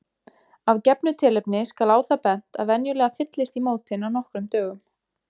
Af gefnu tilefni skal á það bent að venjulega fyllist í mótin á nokkrum dögum.